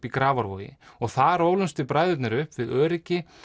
í Grafarvoginum og þar ólumst við bræðurnir upp við öryggi